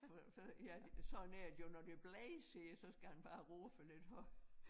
For for ja sådan er det jo når det blæser ja så skal han bare råbe lidt højere